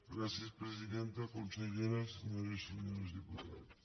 gràcies presidenta consellera senyores i senyors diputats